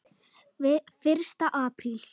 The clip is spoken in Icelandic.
Fyrsta apríl.